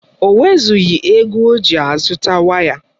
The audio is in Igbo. O nwezụghi ego oji azụta waya